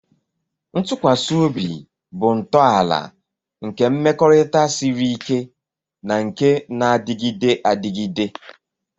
Ntụkwasị obi bụ ntọala nke mmekọrịta siri ike na nke na-adịgide adịgide.